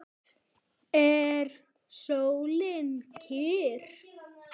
Er sólin kyrr?